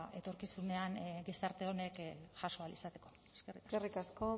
etorkizunean gizarte honek jaso ahal izateko eskerrik asko